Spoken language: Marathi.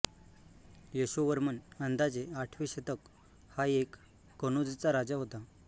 यशोवर्मन अंदाजे आठवे शतक हा एक कनौजचा राजा होता